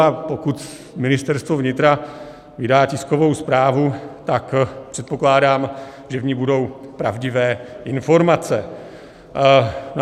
A pokud Ministerstvo vnitra vydá tiskovou zprávu, tak předpokládám, že v ní budou pravdivé informace.